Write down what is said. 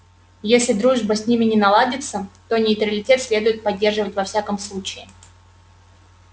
если дружба с ними не наладится то нейтралитет следует поддерживать во всяком случае